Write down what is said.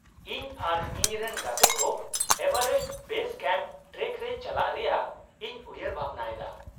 -ᱤᱧ ᱟᱨ ᱤᱧᱨᱮᱱ ᱜᱟᱛᱮ ᱠᱚ ᱮᱵᱷᱟᱨᱮᱥᱴ ᱵᱮᱥ ᱠᱮᱢᱯ ᱴᱨᱮᱠ ᱨᱮ ᱪᱟᱞᱟᱣ ᱨᱮᱭᱟᱜ ᱤᱧ ᱩᱭᱦᱟᱹᱨ ᱵᱷᱟᱵᱱᱟ ᱮᱫᱟ ᱾